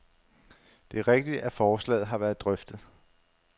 Det er rigtigt, at forslaget har været drøftet.